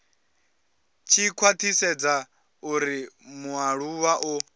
tshi khwathisedza uri mualuwa o